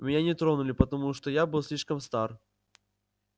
меня не тронули потому что я был слишком стар